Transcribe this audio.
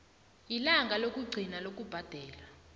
ilanga lokugcina lokubhadela